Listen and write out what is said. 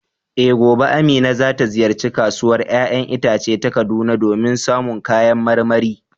Eh, gobe Amina za ta ziyarci Kasuwar ‘ya’yan itace ta Kaduna domin samun kayan marmari.